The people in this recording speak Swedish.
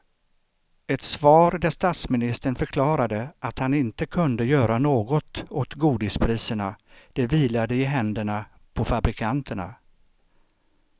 Ett svar där statsministern förklarade att han inte kunde göra något åt godispriserna, det vilade i händerna på fabrikanterna.